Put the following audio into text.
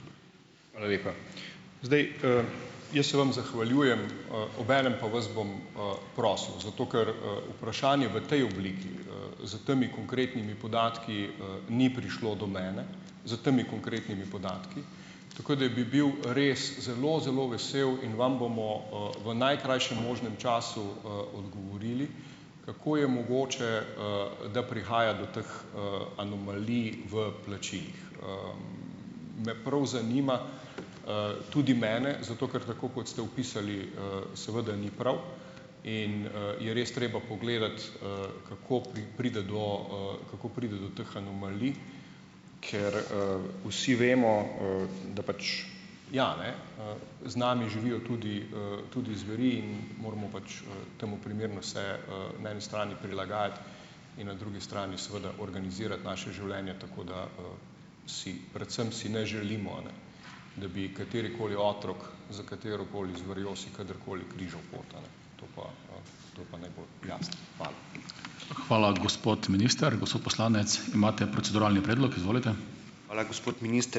Hvala lepa. Zdaj, jaz se vam zahvaljujem, obenem pa vas bom prosil. Zato ker, vprašanje v tej obliki, s temi konkretnimi podatki, ni prišlo do mene. S temi konkretnimi podatki. Tako da bi bil res zelo zelo vesel in vam bomo, v najkrajšem možnem času, odgovorili, kako je mogoče, da prihaja do teh, anomalij v plačilih. Me prav zanima, tudi mene. Zato ker, tako kot ste opisali, seveda ni prav in, je res treba pogledati, kako pride do, kako pride do teh anomalij. Ker, vsi vemo, da pač, ja ne, z nami živijo tudi, tudi zveri in moramo pač, temu primerno se, na eni strani prilagajati in na drugi strani seveda organizirati naše življenje, tako da si, predvsem si ne želimo, ne, da bi katerikoli otrok s katerokoli zverjo si kadarkoli križal pot, a ne. To pa, to pa ne bo jasno. Hvala.